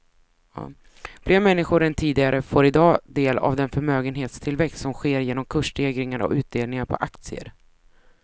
Fler människor än tidigare får i dag del av den förmögenhetstillväxt som sker genom kursstegringar och utdelningar på aktier.